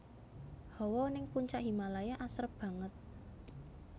Hawa ning Puncak Himalaya asrep banget